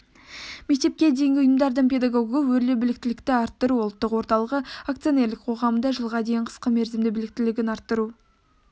мектепке дейінгі ұйымдардың педагогі өрлеу біліктілікті арттыру ұлттық орталығы акционерлік қоғамында жылға дейін қысқа мерзімді біліктілігін арттыру